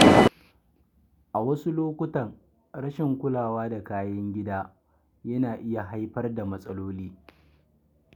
A wasu lokuta, rashin kulawa da kayan gida yana iya haifar da matsaloli.